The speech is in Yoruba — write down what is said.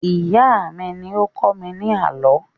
Ìyá mí ní ó ń kọ́ mi ní àlọ́